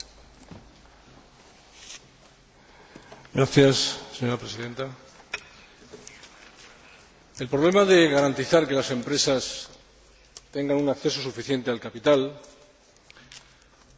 El problema de garantizar que las empresas tengan un acceso suficiente al capital, así como las acciones de los Estados miembros para ello, es un asunto que inquieta desde hace tiempo al Consejo, como ustedes saben.